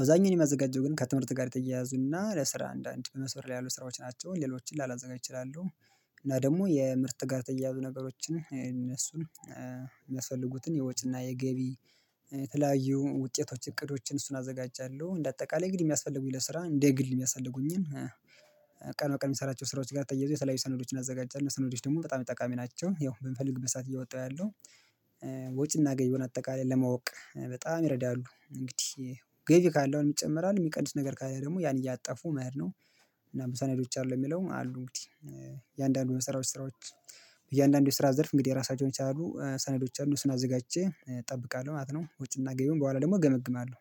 አብዛኛዉን የማዘጋጀው ግን ከትምህርት ጋር የተያያዙና ለስራ አንዳንድ በመስመር ላይ ያሉ ስራዎች ናቸው ሌሎችን ላላዘጋጅ ይችላሉ። እና ደግሞ የምርት ጋር ተያያዙ ነገሮችን እነሱን የሚያስፈልጉትን የወጪና የገቢ የተለያዩ ውጤቶች እንቅዶችን እሱን አዘጋጃለሁ እንደ አጠቃላይ እንግዲህ የሚያስፈልጉኝ ለስራ እንደ ግል የሚያስፈልጉኝን ቀን በቀን የሚሰራቸው ስራዎች ጋር ተያይዘው የተለያዩ ሰነዶችን አዘጋጃለሁ። ሰነዶች ደግሞ በጣም ጠቃሚ ናቸው። ያው በምንፈልግበት ሰዓት እየወጣሁ ያለው ወጪ እናገኝ አጠቃላይ ለማወቅ በጣም ይረዳሉ እንግዲህ። ገቢ ካለው ይጨመራል የሚቀንስ ነገር ካለ ደግሞ ያን እያጠፉ መሄድ ነው። እና ምሳሌ ውጭ አይደለም የሚለውም አሉ እንግዲህ። የአንዳንዱ የሰራዎች ስራዎች እያንዳንዱ የስራ ዘርፍ እንግዲህ የራሳቸውን የቻሉ ሰነዶች አሉ እሱን አዘጋጅቼ እጠብቃለሁ ማለት ነው። ወጪና ገቢውን በኋላ ደግሞ እገመግማለሁ